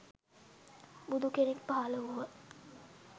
බුදු කෙනෙක් පහළ වූහ.